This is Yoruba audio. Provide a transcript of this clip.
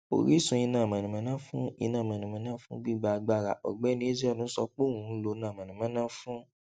orísun iná mànàmáná fún iná mànàmáná fún gbigba agbara ògbéni ezeonu sọ pé òun ń lo iná mànàmáná fún